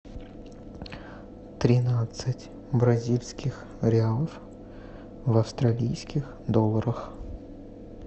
тринадцать бразильских реалов в австралийских долларах